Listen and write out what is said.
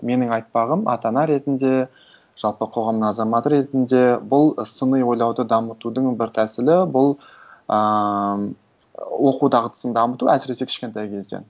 менің айтпағым ата ана ретінде жалпы қоғам азаматы ретінде бұл сыни ойлауды дамытудың бір тәсілі бұл ыыы оқу дағдысын дамыту әсіресе кішкентай кезден